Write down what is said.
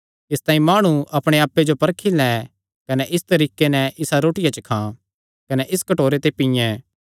इसतांई माणु अपणे आप्पे जो परखी लैं कने इस तरीके नैं इसा रोटिया च खां कने इस कटोरे ते पींये